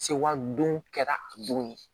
Sewali don kɛra a don